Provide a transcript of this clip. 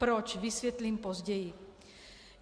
Proč, vysvětlím později.